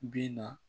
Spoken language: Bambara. Bi na